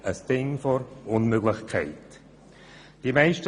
Ein Ding der Unmöglichkeit, trotz tiefer Zinsen.